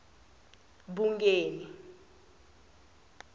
bungeni